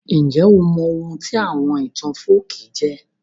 Njẹ́ o mọ oun tí àwon ìtàn folkí jẹ́?